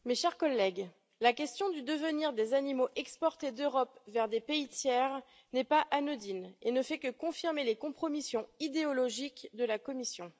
Madame la Présidente, mes chers collègues, la question du devenir des animaux exportés d'Europe vers des pays tiers n'est pas anodine et ne fait que confirmer les compromissions idéologiques de la Commission.